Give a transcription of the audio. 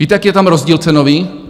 Víte, jaký je tam rozdíl cenový?